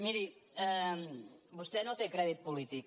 miri vostè no té crèdit polític